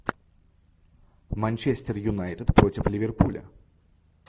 манчестер юнайтед против ливерпуля